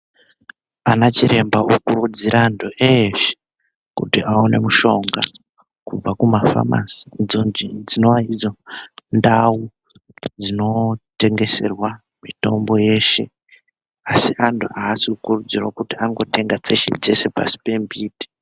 Anachiremba okurudzira antu eshe, kuti aone mushonga kubva kumafamasi dzinovaidzo ndau dzinotengeserwa mitombo yeshe. Asi antu haasi kukurudzirwa kuti andotenga dzese-dzese pasi pembuti.